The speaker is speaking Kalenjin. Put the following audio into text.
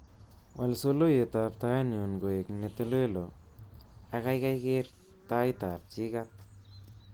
Wal soloiwetab taitnyu koek netolelo ak kaikai ker taitab jikat